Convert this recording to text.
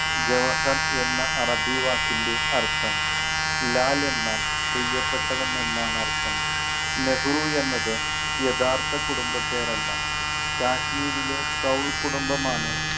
ജവഹർ എന്ന അറബി വാക്കിൻ്റെ അർഥം. ലാൽ എന്നാൽ പ്രിയപ്പെട്ടവൻ എന്നാണ് അർഥം. നെഹ്‌റു എന്നത് യഥാർത്ഥ കുടുംബ പേരല്ല. കാശ്മീരിലെ കൗൾ കുടുംബം ആണ്